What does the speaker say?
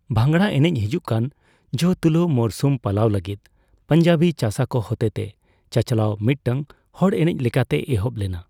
ᱵᱷᱟᱝᱲᱟ ᱮᱱᱮᱪ ᱦᱤᱡᱩᱜ ᱠᱟᱱ ᱡᱚ ᱛᱩᱞᱟᱹᱣ ᱢᱚᱨᱥᱩᱢ ᱯᱟᱞᱟᱣ ᱞᱟᱹᱜᱤᱫ ᱯᱚᱧᱡᱟᱵᱤ ᱪᱟᱥᱟ ᱠᱚ ᱦᱚᱛᱮᱛᱮ ᱪᱟᱼᱪᱟᱞᱟᱣ ᱢᱤᱫᱴᱟᱝ ᱦᱚᱲ ᱮᱱᱮᱪ ᱞᱮᱠᱟᱛᱮ ᱮᱦᱚᱵ ᱞᱮᱱᱟ ᱾